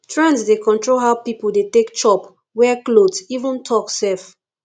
trends dey control how people dey take chop wear cloth even talk sef